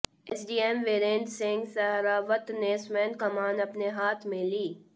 SDM Virendra Singh Sehrawat ने स्वयं कमान अपने हाथ में ली